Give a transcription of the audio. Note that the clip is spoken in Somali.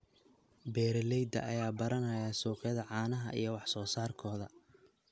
Beeralayda ayaa baranaya suuqyada caanaha iyo wax soo saarkooda.